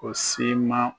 O siman